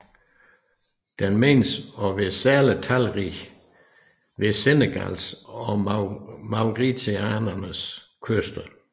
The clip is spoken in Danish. Den menes at være særlig talrig ved Senegals og Mauretaniens kyster